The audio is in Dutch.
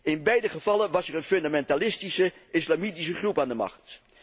In beide gevallen was er een fundamentalistische islamitische groep aan de macht.